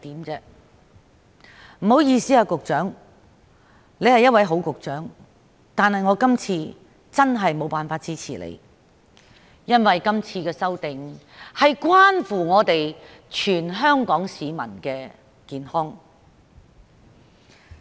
局長，不好意思，雖然你是一位好局長，但我今次確實無法支持你，因為今次的修訂關乎全港市民的健康。